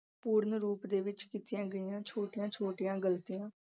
ਪੂਰਨ ਰੂਪ ਦੇ ਵਿੱਚ ਕੀਤੀਆਂ ਗਈਆਂ ਛੋਟੀਆਂ-ਛੋਟੀਆਂ ਗਲਤੀਆਂ